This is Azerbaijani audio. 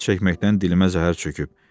Siqaret çəkməkdən dilimə zəhər çöküb.